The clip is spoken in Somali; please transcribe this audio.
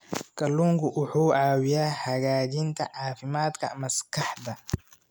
Kalluunku wuxuu caawiyaa hagaajinta caafimaadka maskaxda.